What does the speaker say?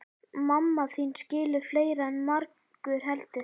Mamma þín skilur fleira en margur heldur.